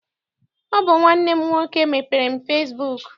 Ọ bụ nwanne m nwoke mepeere m fesibuuku.